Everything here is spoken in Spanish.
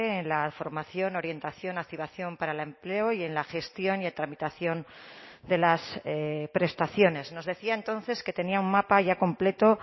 en la formación orientación activación para el empleo y en la gestión y tramitación de las prestaciones nos decía entonces que tenía un mapa ya completo